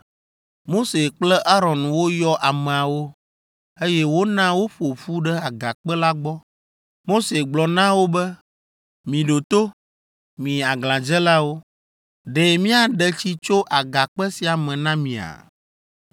Mose kple Aron woyɔ ameawo, eye wona woƒo ƒu ɖe agakpe la gbɔ. Mose gblɔ na wo be, “Miɖo to, mi aglãdzelawo! Ɖe míaɖe tsi tso agakpe sia me na mia?”